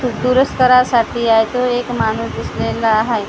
तू दुरुस्त करायसाठी आहे तो एक माणूस दिसलेला हाय तिथं --